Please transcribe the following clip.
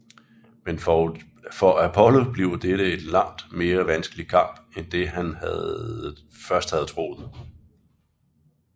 Men for Apollo bliver dette en langt mere vanskelig kamp end det han først havde troet